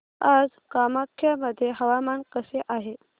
आज कामाख्या मध्ये हवामान कसे आहे